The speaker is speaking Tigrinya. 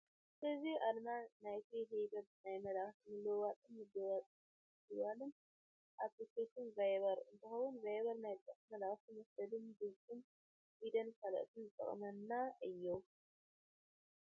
እዚ ኣርማ ናይቲ ህቡብ ናይ መልእኽቲ ምልውዋጥን ምድዋልን ኣፕሊኬሽን ቫይበር እንትከውን፣ ቫይበር ናይ ጽሑፍ መልእኽቲ መስደድን፣ ድምፅን ቪድዮን ካልኦትን ዝጠቅመና እዩ።